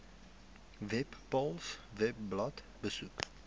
webpals webblad besoek